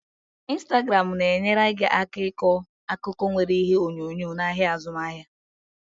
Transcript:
Instagramu na-enyere gị aka ịkọ akụkọ nwere ihe onyonyo n'ahịa azụmaahịa.